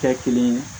Kɛ kelen ye